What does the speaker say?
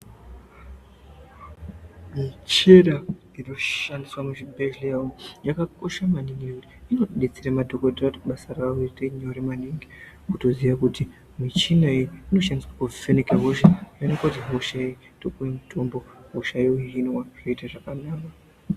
Michina inoshandiswa muzvibhedhleya umu, yakakosha maningi nekuti inotidetsere madhokodheya kuti basa ravo riite nyore maningi, kutoziye kuti michina iyi inoshandiswe kuvheneke hosha yooneke kuti hosha iyi, wotopiwe mitombo, hosha yohinwa, zvoite zvakanaka.